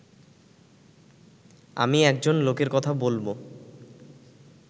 আমি একজন লোকের কথা বলব